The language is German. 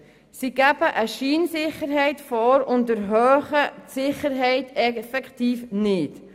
Sie geben eine Scheinsicherheit vor und erhöhen die Sicherheit effektiv nicht.